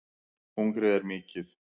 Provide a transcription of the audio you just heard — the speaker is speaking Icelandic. Hungrið er mikið